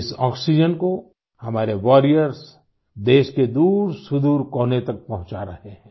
इस आक्सीजेन को हमारे वॉरियर्स देश के दूरसुदूर कोने तक पहुँचा रहे हैं